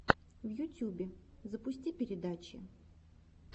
в ютюбе запусти передачи